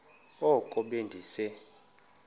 oko be ndise